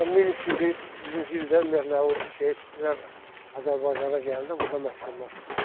Bunlar 1300-cü ildən ümumiyyətlə o Seyidlər Azərbaycana gələndə burda məskunlaşıblar.